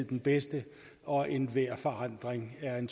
den bedste og at enhver forandring er en